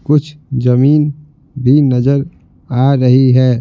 कुछ जमीन भी नजर आ रही है।